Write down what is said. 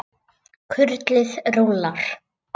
Kurlið rúllar.